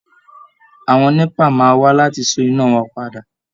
Àwọn NEPA máa wá láti so iná wa padà